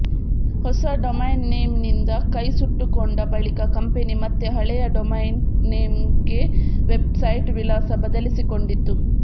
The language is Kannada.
ಹೊಸ ಡೊಮೈನ್ ನೇಮ್ನಿಂದ ಕೈ ಸುಟ್ಟುಕೊಂಡ ಬಳಿಕ ಕಂಪೆನಿ ಮತ್ತೆ ಹಳೆಯ ಡೊಮೈನ್ ನೇಮ್ಗೆ ವೆಬ್ಸೈಟ್ ವಿಳಾಸ ಬದಲಿಸಿಕೊಂಡಿತು